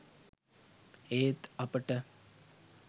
ඒත් අපට